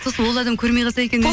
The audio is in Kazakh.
сосын ол адам көрмей қалса екен